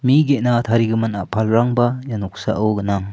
mi ge·na tarigimin a·palrangba ia noksao gnang.